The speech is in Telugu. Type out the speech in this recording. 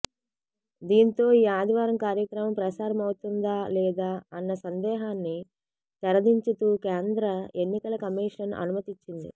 దీంతో ఈ ఆదివారం కార్యక్రమం ప్రసారమౌతుందాలేదా అన్న సందేహాన్ని తెరదించుతూ కేంద్ర ఎన్నికల కమీషన్ అనుమతినిచ్చింది